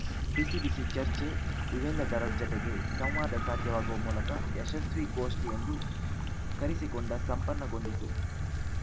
ಬಿಸಿ ಬಿಸಿ ಚರ್ಚೆ ಇವೆಲ್ಲದರ ಜತೆಗೆ ಸಂವಾದ ಸಾಧ್ಯವಾಗುವ ಮೂಲಕ ಯಶಸ್ವಿ ಗೋಷ್ಠಿ ಎಂದು ಕರೆಸಿಕೊಂಡ ಸಂಪನ್ನಗೊಂಡಿತು